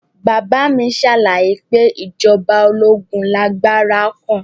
Bàbá mi ṣàlàyé pé ìjọba ológun lágbára gan